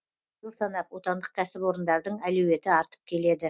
жыл санап отандық кәсіпорындардың әлеуеті артып келеді